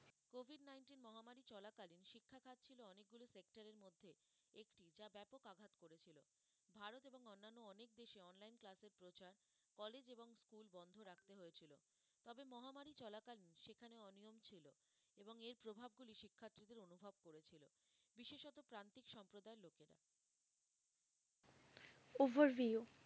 overview